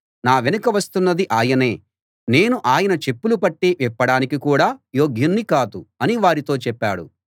నా వెనుక వస్తున్నది ఆయనే నేను ఆయన చెప్పుల పట్టీ విప్పడానికి కూడా యోగ్యుణ్ణి కాదు అని వారితో చెప్పాడు